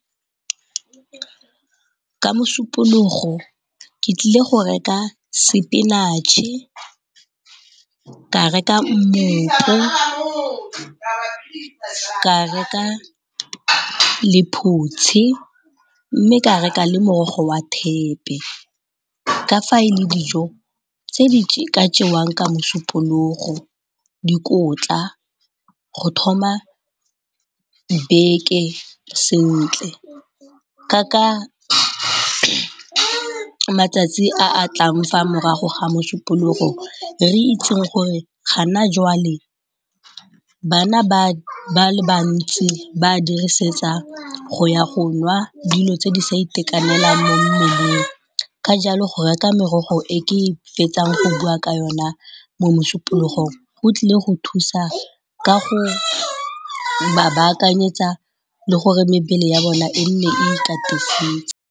Ka Mosupologo ke tlile go reka sepinatšhe, ka reka mmopo, ka reka lephutsi mme ka reka le morogo wa thepe ka fa e le dijo tse di ka jewang ka Mosupologo. Dikotla go thoma beke sentle ka matsatsi a a tlang fa morago ga Mosupologo re itseng gore gona joale bana ba le bantsi ba a dirisetsa go ya go nwa dilo tse di sa itekanelang mo mmeleng. Ka jalo go reka merogo e ke fetsang go bua ka yone mo Mosupologong go tlile go thusa ka go ba baakanyetsa le gore mebele ya bone e nne e ikatisitse.